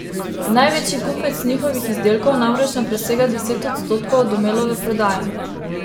Največji kupec njihovih izdelkov namreč ne presega deset odstotkov Domelove prodaje.